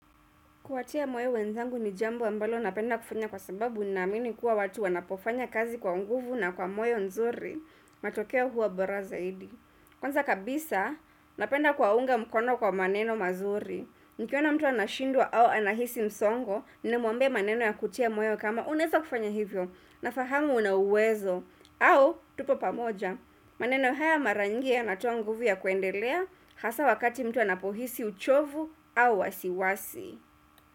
Kuwatia moyo wenzangu ni jambo ambalo napenda kufanya kwa sababu na amini kuwa watu wanapofanya kazi kwa nguvu na kwa moyo nzuri. Matokea huwa bara zaidi. Kwanza kabisa, napenda kwaunga mkono kwa maneno mazuri. Nkiwena mtu anashindwa au anahisi msongo, nina muambia maneno ya kutia moyo kama uneza kufanya hivyo. Nafahamu unauwezo. Au, tupo pamoja. Maneno haya mara nyingi yana toa nguvu ya kuendelea hasa wakati mtu anapohisi uchovu au wasiwasi.